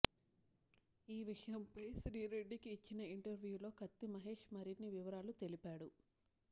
ఈ విషయంపై శ్రీరెడ్డికి ఇచ్చిన ఇంటర్వ్యూలో కత్తి మహేష్ మరిన్ని వివరాలు తెలిపాడు